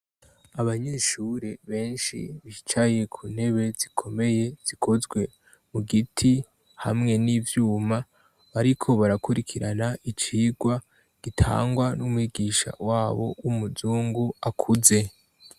Abanyeshure benshi bicaye ku ntebe zikomeye zikozwe mu giti hamwe n'ivyuma ariko barakurikirana icigwa gitangwa n'umwigisha wabo w'umuzungu akuze.